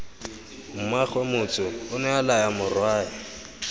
mmaagwe motsu onea laya morwae